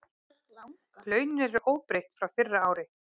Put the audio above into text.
Launin eru óbreytt frá fyrra ári